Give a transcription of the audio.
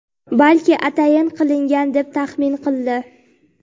balki atayin qilingan deb taxmin qildi.